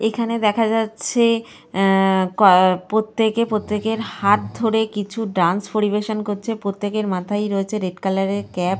এখানে দেখা যাচ্ছে অ্যা কো প্রত্যেকে প্রত্যেকের হাত ধরে কিছু ডান্স পরিবেশন করছে। প্রত্যকের মাথায় রয়েছে রেড কালার -এর ক্যাপ ।